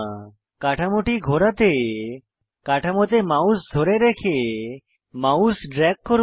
কাঠামোটি ঘোরাতে কাঠামোতে মাউস ধরে রেখে মাউস ড্রেগ করুন